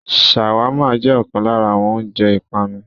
ṣàwámà jẹ ọkan lára àwọn oúnjẹ ìpanu.